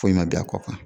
Foyi ma bɛn a kɔ kan